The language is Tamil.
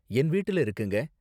என் வீட்ல இருக்குங்க.